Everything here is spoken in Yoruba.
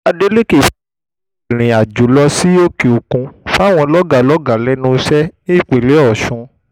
adélékè fagi lé ìrìnàjò sí òkè-òkun fáwọn lọ́gàálọ́gàá lẹ́nu iṣẹ́ ní ìpínlẹ̀ ọ̀sùn